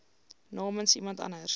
namens iemand anders